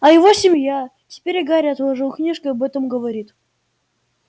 а его семья теперь и гарри отложил книжки и об этом говорит